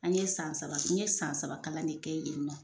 An ye san saba n ye san saba kalan de kɛ yen nɔ